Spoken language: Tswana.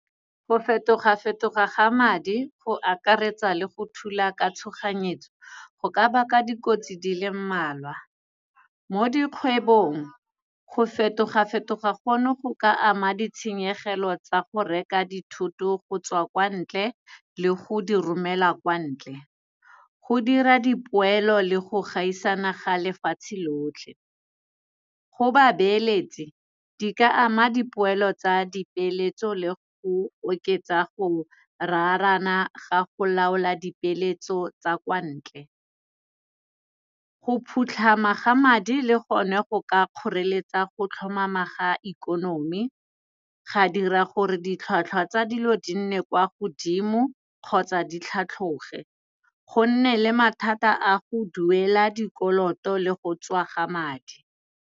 Go fetoga-fetoga ga madi go akaretsa le go thula ka tshoganyetso, go ka baka dikotsi dile mmalwa mo dikgwebong. Go fetoga-fetoga go no, go ka ama ditshenyegelo tsa go reka dithoto go tswa kwa ntle le go di romela kwa ntle. Go dira dipoelo le go gaisana ga lefatshe lotlhe. Go babeeletsi, di ka ama dipoelo tsa dipeeletso, le go oketsa go raarana ga go laola dipeeletso tsa kwa ntle. Go phutlhama ga madi le gone, go ka kgoreletsa go tlhomama ga ikonomi, ga dira gore ditlhwatlhwa tsa dilo di nne kwa godimo kgotsa di tlhatlhoge go nne le mathata a go duela dikoloto le go tswa ga madi.